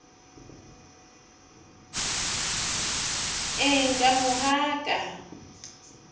eng ka mo ga ka